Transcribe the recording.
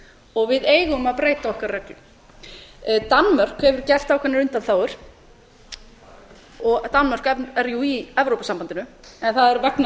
og við eigum að breyta okkar reglum danmörk hefur gert ákveðnar undanþágur og danmörk er jú í evrópusambandinu en það er vegna